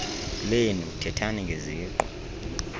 lenu thethani ngeziqu